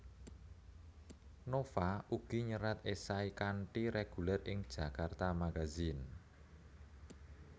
Nova ugi nyerat esai kanthi reguler ing Djakarta Magazine